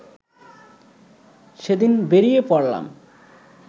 সেদিন বেরিয়ে পড়লাম